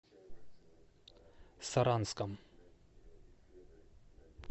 саранском